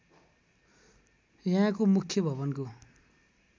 यहाँको मुख्य भवनको